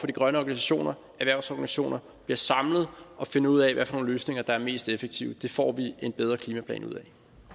de grønne organisationer og erhvervsorganisationer bliver samlet og finder ud af hvad for nogle løsninger der er mest effektive det får vi en bedre klimaplan ud